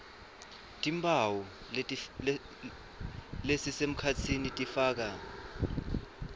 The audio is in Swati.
timphawu lesisemkhatsini tifaka